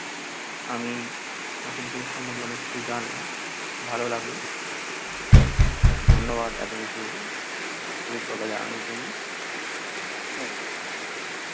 আমি বাসন্তী পুজোর সম্মন্ধে অনেক কিছু জানলাম. ভালো লাগলো ধন্যবাদ এত কিছু অভিজ্ঞতা জানানোর জন্য